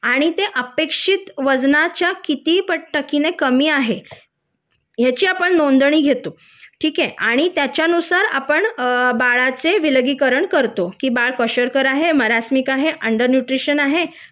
आणि ते अपेक्षित वजनाच्या कीती पटीने कमी आहे याची आपण नोंदणी घेतो ठिके आणि त्याचयानुसार आपण अ बाळाचे विलगीकरण करतो की बाळ कोशार्कर आहे मारसनिक आहे अन्डर न्यूट्रिशन आहे